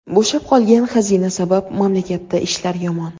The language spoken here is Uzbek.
Bo‘shab qolgan xazina sabab mamlakatda ishlar yomon.